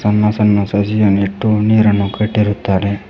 ಸಣ್ಣ ಸಣ್ಣ ಸಸಿಯನ್ನು ಇಟ್ಟು ನೀರನ್ನು ಕಟ್ಟಿರುತ್ತಾರೆ.